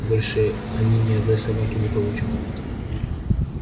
больше они ни одной собаки не получат